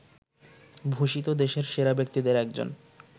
ভূষিত দেশের সেরা ব্যক্তিদের একজন